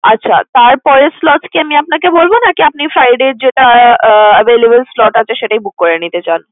আচ্ছা, তারপরের slot কি আমি আপনাকে বলবো নাকি আপনি friday যেটা আহ available slot আছে সেটাই book করে নিতে চান?